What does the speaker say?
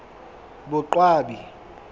boqwabi